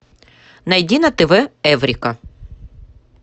найди на тв эврика